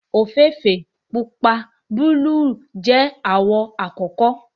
ofeefee, pupa, buluu jẹ awọn awọ akọkọ